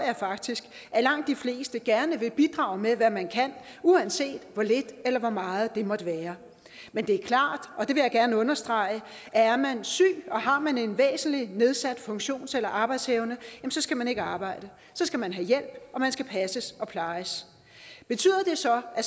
faktisk at langt de fleste gerne vil bidrage med hvad man kan uanset hvor lidt eller hvor meget det måtte være men det er klart og det vil jeg gerne understrege at er man syg og har man en væsentlig nedsat funktions eller arbejdsevne skal man ikke arbejde så skal man have hjælp og man skal passes og plejes betyder det så at